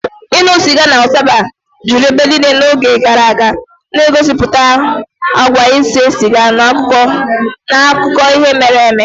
Ịṅụ sịga na ụtaba juru ebe niile n'oge gara aga, na-egosipụta àgwà ise siga n'akụkọ ihe mere eme.